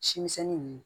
Simisɛnnin ninnu